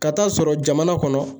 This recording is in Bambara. Ka taa sɔrɔ jamana kɔnɔ